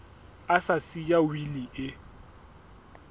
a sa siya wili e